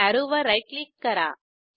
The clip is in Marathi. अॅरोवर राईट क्लिक करा